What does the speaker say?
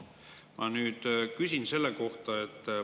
Ma nüüd küsin selle kohta.